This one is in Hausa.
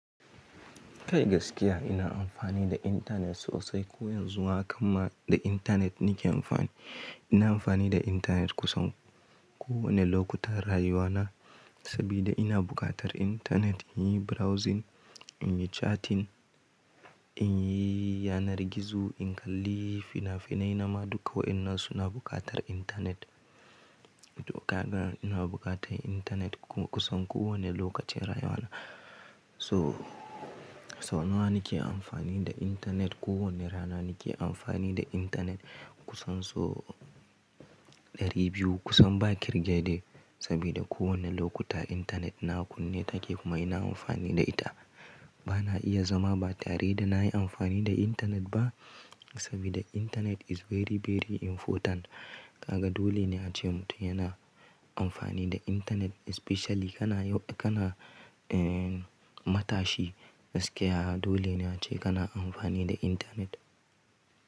Kai gaskiya ina amfani da internet sosai. Ko yanzu haka ma da internet nake amfani. Ina amfani da internet kusan kowane lokuta rayuwa na, sabida ina bukatar internet in yi browsing, in yi chatting, in yi yanar gizo, in kalli fina-finai, nama duka wa'innan suna bukatar internet. To kaga ina bukata internet kusan kowane lokaci rayuwa na. So, sau nawa nake amfani da internet? Ko wane rana nake amfani da internet kusan so ɗari biyu, kusan ba kirge de. Sabida kowane lokuta internet na kunne take kuma ina amfani da ita. Bana iya zama ba tare da nayi amfani da internet ba, sabida internet is very very important. Kaga dole ne ace mutum yana amfani da internet especially kana, kana, eh, matashi gaskiya dole ne ace kana amfani da internet.